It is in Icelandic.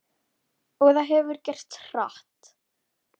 Og það hefur gerst hratt.